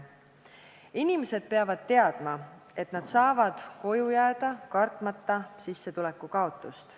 Inimesed peavad teadma, et nad saavad koju jääda, kartmata sissetuleku kaotust.